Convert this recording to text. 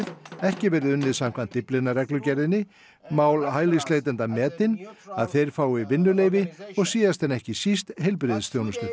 ekki verði unnið samkvæmt Dyflinnarreglugerðinni mál hælisleitenda metin að þeir fái og síðast en ekki síst heilbrigðisþjónustu